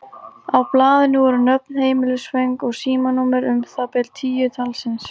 Á blaðinu voru nöfn, heimilisföng og símanúmer, um það bil tíu talsins.